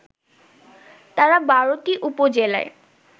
তারা ১২টি উপজেলায়